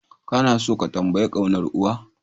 Kana tso ka tambayi kaunar uwa?